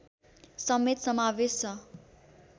समेत समावेश छ